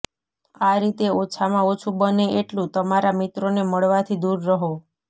આ રીતે ઓછામાં ઓછું બને એટલું તમારા મિત્રોને મળવાથી દૂર રહો